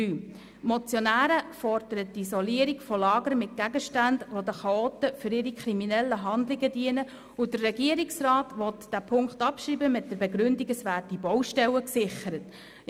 Die Motionäre fordern die Isolierung von Lagern mit Gegenständen, die den Chaoten für ihre kriminellen Handlungen dienen, und der Regierungsrat will diesen Punkt mit der Begründung abschreiben, dass Baustellen gesichert würden.